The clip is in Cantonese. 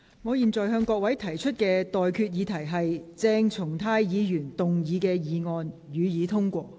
我現在向各位提出的待決議題是：鄭松泰議員動議的議案，予以通過。